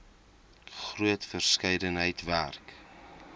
groot verskeidenheid werk